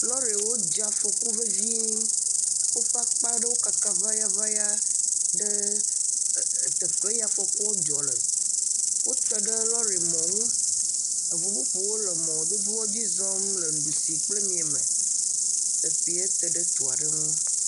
Lɔriwo dze afɔku vevie, eye woƒe akpa ɖewo kaka ŋayaŋaya le teƒe ya ke afɔ kua dzɔ le, wote ɖe lɔrimɔ ŋu eŋu bubuwo le mɔdodoa dzi zɔm le dusime, teƒa te ɖe du aɖe ŋu.